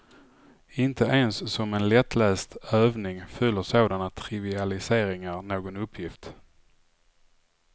Inte ens som en lättläst övning fyller sådana trivialiseringar någon uppgift.